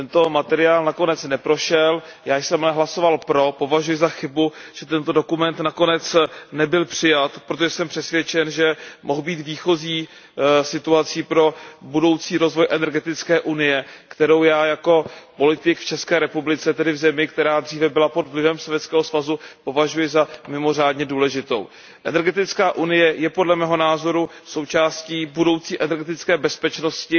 Bavíme se nyní o evropské strategii energetické bezpečnosti. Tento materiál nakonec neprošel, já jsem ale hlasoval pro. Považuji za chybu, že tento dokument nakonec nebyl přijat, protože jsem přesvědčen, že mohl být výchozí situací pro budoucí rozvoj energetické unie, kterou já jako politik v ČR, tedy v zemi, která dříve byla pod vlivem Sovětského svazu, považuji za mimořádně důležitou. Energetická unie je, podle mého názoru, součástí budoucí energetické bezpečnosti